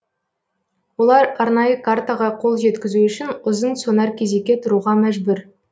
олар арнайы картаға қол жеткізу үшін ұзын сонар кезекке тұруға мәжбүр